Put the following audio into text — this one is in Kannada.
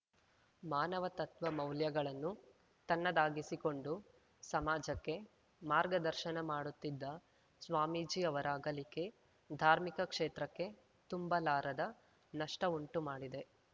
ಮಾನವ ತತ್ವ ಮೌಲ್ಯಗಳನ್ನು ತನ್ನದಾಗಿಸಿಕೊಂಡು ಸಮಾಜಕ್ಕೆ ಮಾರ್ಗದರ್ಶನ ಮಾಡುತ್ತಿದ್ದ ಸ್ವಾಮೀಜಿ ಅವರ ಅಗಲಿಕೆ ಧಾರ್ಮಿಕ ಕ್ಷೇತ್ರಕ್ಕೆ ತುಂಬಲಾರದ ನಷ್ಟಉಂಟು ಮಾಡಿದೆ